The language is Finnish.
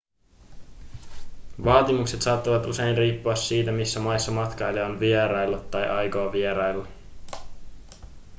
vaatimukset saattavat usein riippua siitä missä maissa matkailija on vieraillut tai aikoo vierailla